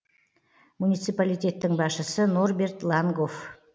муниципалитеттің басшысы норберт лангоф